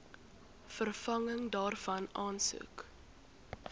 vervanging daarvan aansoek